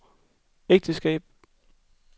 ægteskab